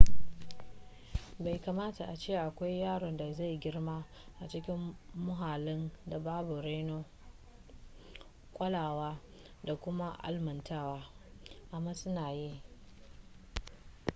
bai kamata a ce akwai yaron da zai girma a cikin muhallin da babu reno kulawa da kuma almantarwa amma suna yi